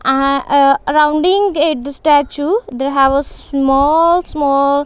ah ah rounding at the statue there have a small small--